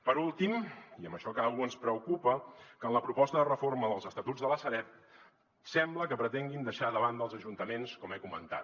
per últim i amb això acabo ens preocupa que en la proposta de reforma dels estatuts de la sareb sembla que pretenguin deixar de banda els ajuntaments com he comentat